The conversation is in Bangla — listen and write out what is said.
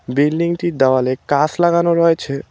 বিল্ডিং -টির দেওয়ালে কাঁচ লাগানো রয়েছে।